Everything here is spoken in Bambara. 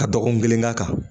Ka dɔgɔkun kelen k'a kan